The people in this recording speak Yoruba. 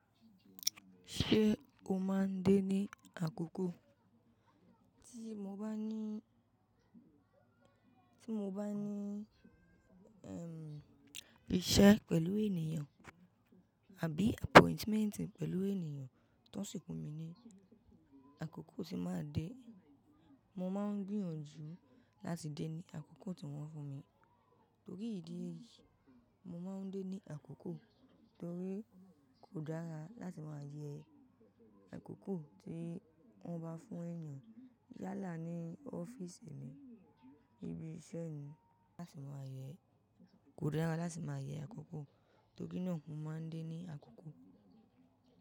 Ṣé o máa ń dé ní àkókò? Tí mo bá ní, tí mo bá ní, ẹm, iṣẹ́ pẹ̀lú ènìyàn àbí appointment pẹ̀lú ènìyàn tí wọ́n sì fún mi ní àkókò tí màá dé. Mo máa ń gbìyànjú láti dé ní àkókò tí wọ́n fún mi. Torí ìdí èyí, mo máa ń dé ní àkókò torí kò dára láti ma yẹ àkókò tí wọ́n bá fún èèyàn yálà ní ọ́fíìsì ni, ibi iṣẹ́ ni, láti máa yẹ. Kò dára láti máa yẹ àkókò torí náà mo máa ń dé ní àkókò.